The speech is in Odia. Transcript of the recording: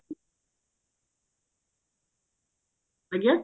ଆଜ୍ଞା